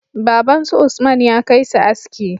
Baban su usman ya kai su aski